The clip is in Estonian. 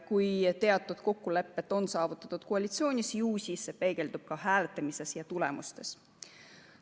Kui teatud kokkulepped on saavutatud koalitsioonis, ju see peegeldub siis ka hääletamise tulemustes.